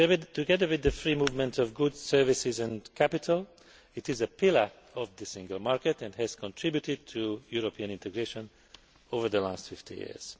Together with the free movement of goods, services, and capital, it is a pillar of the Single Market and has contributed to European integration over the last 50 years.